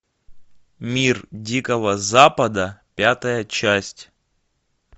мир дикого запада пятая часть